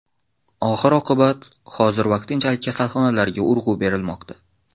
Oxir-oqibat, hozir vaqtinchalik kasalxonalarga urg‘u berilmoqda.